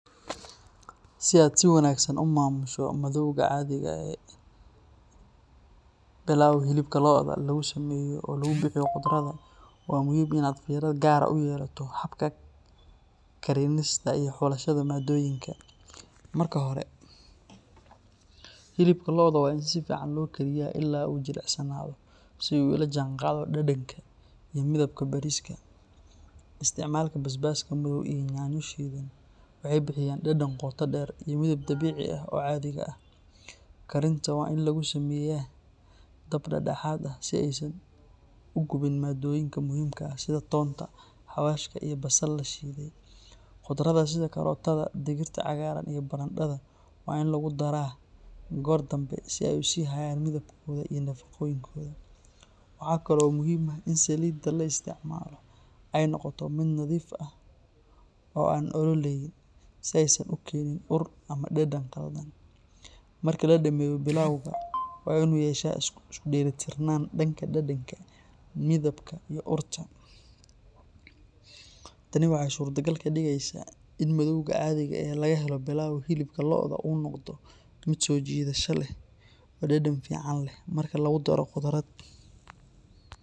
Si aad si wanaagsan u maamusho madoowga cadhiga ee Pilau hilibka lo’da lagu sameeyo oo lagu bixiyo khudradda, waxaa muhiim ah in aad fiiro gaar ah u yeelato habka karinista iyo xulashada maaddooyinka. Marka hore, hilibka lo’da waa in si fiican loo kariyaa ilaa uu jilicsanaado si uu u la jaanqaado dhadhanka iyo midabka bariiska. Isticmaalka basbaaska madow iyo yaanyo shiidan waxay bixiyaan dhadhan qoto dheer iyo midab dabiici ah oo cadhiga ah. Karinta waa in lagu sameeyaa dab dhexdhexaad ah si aysan u gubin maaddooyinka muhiimka ah sida toonta, xawaashka, iyo basal la shiiday. Khudradda sida karootada, digirta cagaaran iyo barandhada waa in lagu daraa goor dambe si ay u sii hayaan midabkooda iyo nafaqooyinkooda. Waxaa kale oo muhiim ah in saliidda la isticmaalo ay noqoto mid nadiif ah oo aan ololayn, si aysan u keenin ur ama dhadhan khaldan. Marka la dhammeeyo, pilau-gu waa inuu yeeshaa isku dheelitirnaan dhanka dhadhanka, midabka iyo urta. Tani waxay suurtogal ka dhigaysaa in madoowga cadhiga ee laga helo pilau hilibka lo’da uu noqdo mid soo jiidasho leh oo dhadhan fiican leh marka lagu daro khudrad.